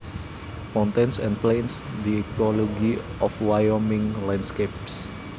Mountains and plains the ecology of Wyoming landscapes